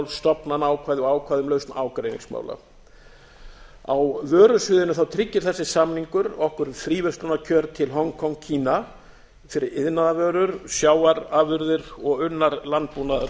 stofnanaákvæði og ákvæði um lausn ágreiningsmála á vörusviðinu tryggir þessi samningur okkur fríverslunarkjör til hong kong kína fyrir iðnaðarvörur sjávarafurðir og unnar landbúnaðarvörur